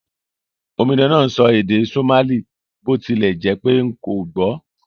Omidan náà n sọ èdè Somali bó tilẹ̀ jẹ́pé n kò gbò